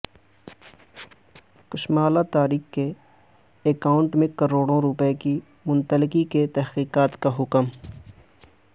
کشمالہ طارق کے اکائونٹ میں کروڑوں روپے کی منتقلی کی تحقیقات کا حکم